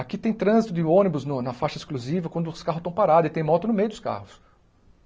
Aqui tem trânsito de ônibus no na faixa exclusiva quando os carros estão parados e tem moto no meio dos carros.